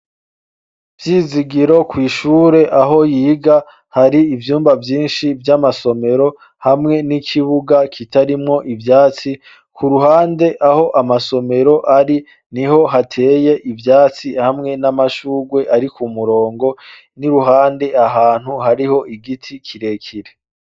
Vyizigiro kw'ishure aho yiga hari ivyumba vyinshi vy'amasomero, hamwe n'ikibuga kitarimwo ivyatsi. Ku ruhande aho amasomero ari, niho hateye ivyatsi hamwe n'amashurwe ari ku murongo n'iruhande ahantu hariho igiti kirekire.